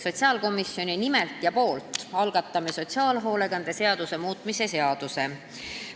Sotsiaalkomisjoni nimel algatame sotsiaalhoolekande seaduse muutmise seaduse.